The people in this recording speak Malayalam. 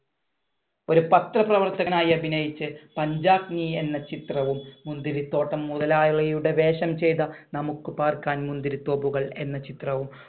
ഒരു പത്രപ്രവർത്തകനായി അഭിനയിച്ച പഞ്ചാഗ്നി എന്ന ചിത്രവും, മുന്തിരിത്തോട്ടം മുതലാളിയുടെ വേഷം ചെയ്ത നമുക്ക് പാർക്കാൻ മുന്തിരിത്തോപ്പുകൾ എന്ന ചിത്രവും,